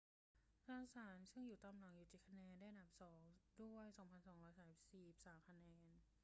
จอห์นสันซึ่งตามหลังอยู่ 7 คะแนน ได้อันดับสองด้วย 2,243 คะแนน